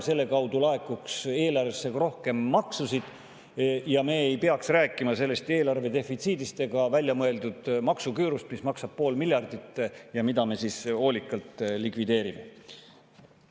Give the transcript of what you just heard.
Selle tulemusena laekuks eelarvesse rohkem makse ja me ei peaks rääkima eelarve defitsiidist ega väljamõeldud maksuküürust, mis maksab pool miljardit ja mida me hoolikalt likvideerime.